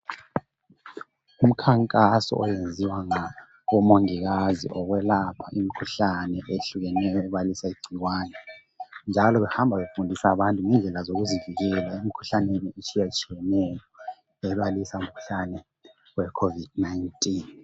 Imikhankaso eyenziwa ngomongikazi yokwelapha imikhuhlane eyehlukeneyo legcikwane njalo behamba befundisa abantu ngendlela zokuzivikela emkhuhlaneni etshiyetshiyeneyo ebalisa imikhuhlane ye COVID-19.